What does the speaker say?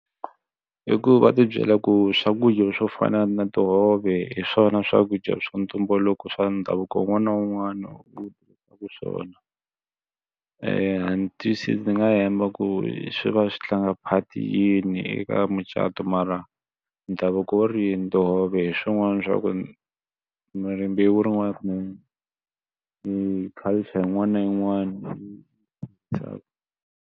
I ku va ti byela ku swakudya swo fana na tihove hi swona swakudya swa ntumbuluko swa ndhavuko wun'wana na wun'wana wu ehleketaka swona ndzi nga hemba ku swi va swi swi tlanga part yini eka mucato mara ndhavuko wu ri yini tihove hi swin'wana swa ku mi rimbewu rin'wana culture yin'wana na yin'wana .